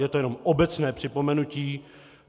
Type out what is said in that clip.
Je to jenom obecné připomenutí.